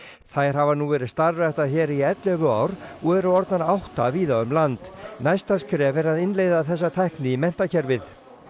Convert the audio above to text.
þær hafa nú verið starfræktar hér í ellefu ár og eru orðnar átta víða um land næsta skref er að innleiða þessa tækni í menntakerfið